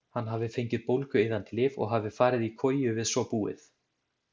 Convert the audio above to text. Hann hafi fengið bólgueyðandi lyf og hafi farið í koju við svo búið.